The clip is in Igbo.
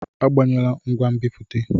Agbanyela ngwa nbipute!